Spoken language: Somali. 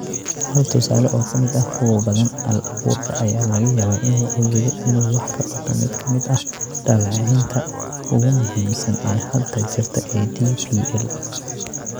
Hal tusaale oo ka mid ah kuwa badan, AI-abuurka ayaa laga yaabaa inuu awoodo inuu wax ka qabto mid ka mid ah dhaleeceynta ugu muhiimsan ee hadda jirta ee DPL.